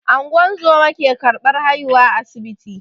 Ungozoma ke ƙarbar haihuwa a asibiti.